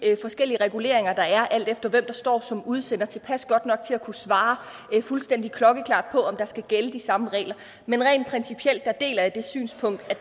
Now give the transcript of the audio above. forskellige reguleringer der er alt efter hvem der står som udsender tilpas godt nok til at kunne svare fuldstændig klokkeklart på om der skal gælde de samme regler men rent principielt deler jeg det synspunkt at